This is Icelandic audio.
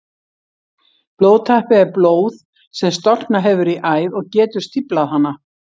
Blóðtappi er blóð sem storknað hefur í æð og getur stíflað hana.